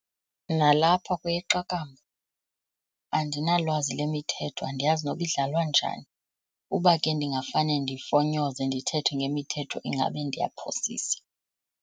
Nalapho kweyeqakamba andinalwazi lwemithetho, andiyazi noba idlalwa njani. Uba ke ndingafane ndifonyoze ndithethe ngemithetho ingabe ndiyaphosisa.